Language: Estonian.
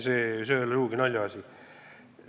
See ei ole sugugi naljaasi.